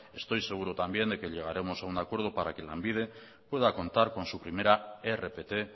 estoy seguro también de que llegaremos a un acuerdo para que lanbide pueda contar con su primera rpt